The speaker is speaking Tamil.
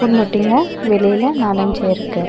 மூட்டைங்க வெளியில நாலு அஞ்சு இருக்கு.